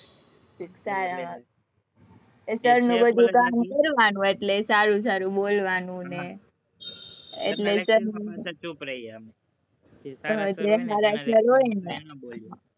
sir નું બધું કામ કરવાનું, એટલે સારું સારું બોલવાનું અને